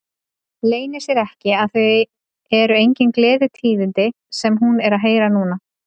Leynir sér ekki að það eru engin gleðitíðindi sem hún er að heyra núna.